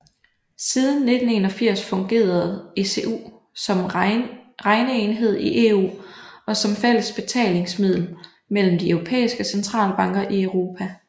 Siden 1981 fungerede ECU som regneenhed i EU og som fælles betalingsmiddel mellem de europæiske centralbanker i Europa